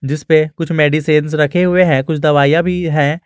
जिसपे कुछ मेडिसिंस रखे हुए हैं कुछ दवाइयां भी है।